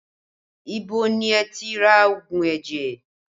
Ibo ni ẹ ti ra òògùn ẹ̀jẹ̀?